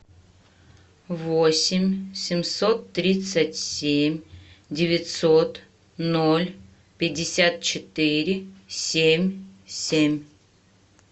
восемь семьсот тридцать семь девятьсот ноль пятьдесят четыре семь семь